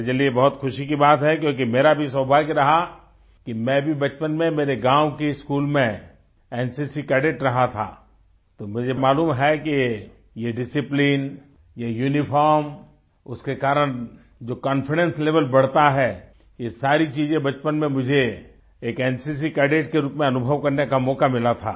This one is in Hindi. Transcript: मेरे लिये बहुत ख़ुशी की बात है क्योंकि मेरा भी सौभाग्य रहा कि मैं भी बचपन में मेरे गाँव के स्कूल में एनसीसी कैडेट रहा था तो मुझे मालूम है कि ये डिसिप्लिन ये यूनिफॉर्म उसके कारण जो कॉन्फिडेंस लेवेल बढ़ता है ये सारी चीज़ें बचपन में मुझे एक एनसीसी कैडेट के रूप में अनुभव करने का मौका मिला था